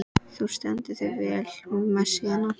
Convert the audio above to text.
Þú stendur þig vel, Messíana!